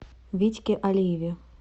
витьке алиеве